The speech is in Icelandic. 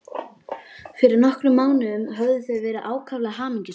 Fyrir nokkrum mánuðum höfðu þau verið ákaflega hamingjusöm.